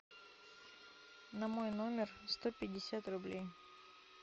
на мой номер сто пятьдесят рублей